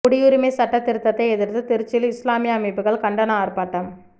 குடியுரிமை சட்டத் திருத்தத்தை எதிா்த்து திருச்சியில் இஸ்லாமிய அமைப்புகள் கண்டன ஆா்ப்பாட்டம்